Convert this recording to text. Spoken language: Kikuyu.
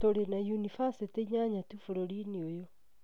Tũrĩ na yunivasĩtĩ inyanya tu bũrũriinĩ ũyũ